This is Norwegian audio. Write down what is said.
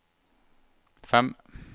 fem